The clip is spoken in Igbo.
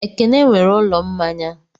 Ekene nwere ụlọ mmanya.